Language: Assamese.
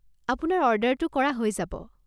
আপোনাৰ অৰ্ডাৰটো কৰা হৈ যাব।